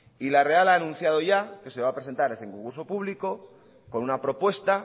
y la real ha anunciado ya que se va a presentar a ese concurso público con una propuesta